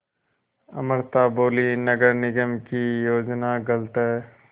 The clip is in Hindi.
अमृता बोलीं नगर निगम की योजना गलत है